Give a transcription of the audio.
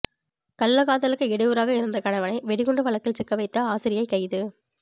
கள்ளக்காதலுக்கு இடையூறாக இருந்த கணவனை வெடிகுண்டு வழக்கில் சிக்க வைத்த ஆசிரியை கைது